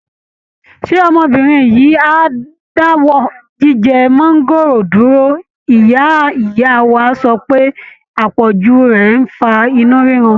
Ṣé ọmọbìnrin yìí á dáwọ́ jíjẹ máńgóòrò dúró, ìyá ìyá wa sọ pé àpọ̀jù rẹ̀ ń fa inú rírun?